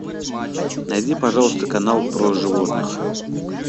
найди пожалуйста канал про животных